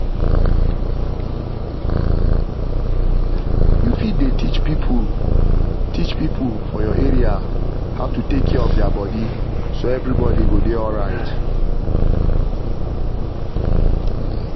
you fit dey teach people teach people for your area how to take care of their body so everybody go dey alright.